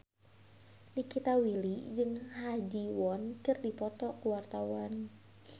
Nikita Willy jeung Ha Ji Won keur dipoto ku wartawan